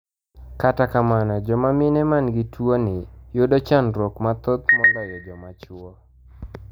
Kata kamano joma mine man gi tuoni yudo chanruok mathoth moloyo joma chuo